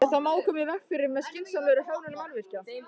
Þetta má koma í veg fyrir með skynsamlegri hönnun mannvirkja.